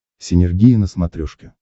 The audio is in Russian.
синергия на смотрешке